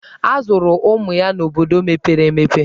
A zụrụ ụmụ ya n'obodo mepere emepe.